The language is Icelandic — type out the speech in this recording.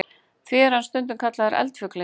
Því er hann stundum kallaður eldfuglinn.